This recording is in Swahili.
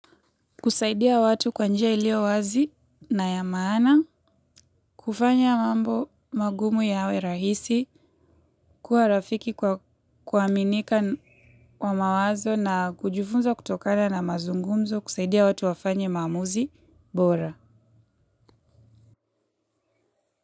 Kusaidia watu kwa njia ilio wazi na ya maana, kufanya mambo magumu yawe rahisi, kuwa rafiki kwa kuaminika wa mawazo na kujifunza kutokana na mazungumzo, kusaidia watu wafanye maamuzi, bora.